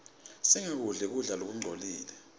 singakudli kudla lokungcolile